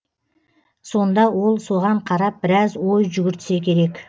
сонда ол соған қарап біраз ой жүгіртсе керек